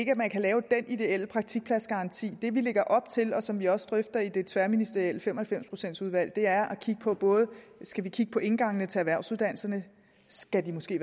ikke at man kan lave dén ideelle praktikpladsgaranti det vi lægger op til og som vi også drøfter i det tværministerielle fem og halvfems procents udvalg er skal vi kigge på indgangene til erhvervsuddannelserne skal de måske